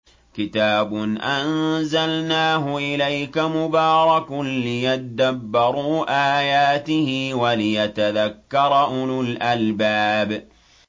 كِتَابٌ أَنزَلْنَاهُ إِلَيْكَ مُبَارَكٌ لِّيَدَّبَّرُوا آيَاتِهِ وَلِيَتَذَكَّرَ أُولُو الْأَلْبَابِ